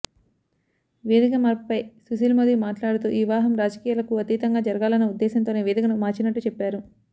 వేదిక మార్పుపై సుశీల్ మోదీ మాట్లాడుతూ ఈ వివాహం రాజకీయాలకు అతీతంగా జరగాలన్న ఉద్దేశంతోనే వేదికను మార్చినట్టు చెప్పారు